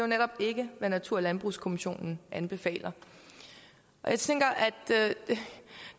netop ikke hvad natur og landbrugskommissionen anbefaler jeg tænker at